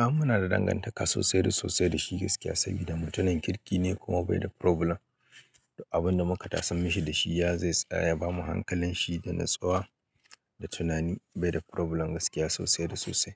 A munada dangantaka sosai da sosai dashi gaskiya sabida mutumin kirkine kuma bai da problem duk abunda muka tasar mishi dashi ya zai tsaya yabamu hankalin shi da natsuwa da tunani bai da problem gaskiya sosai da sosai